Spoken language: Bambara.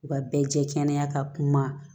U ka bɛɛ jɛ kɛnɛya ka kuma